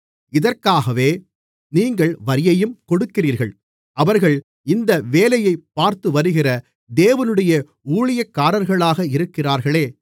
இதற்காகவே நீங்கள் வரியையும் கொடுக்கிறீர்கள் அவர்கள் இந்த வேலையைப் பார்த்துவருகிற தேவனுடைய ஊழியக்காரர்களாக இருக்கிறார்களே